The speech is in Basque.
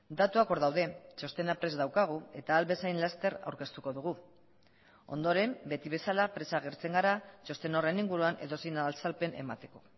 datuak hor daude txostena prest daukagu eta ahal bezain laster aurkeztuko dugu ondoren beti bezala presa agertzen gara txosten horren inguruan edozein azalpen emateko